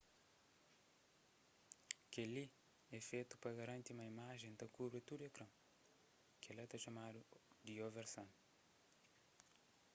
kel-li é fetu pa garanti ma imajen ta kubri tudu ekran kel-la ta txomadu di oversan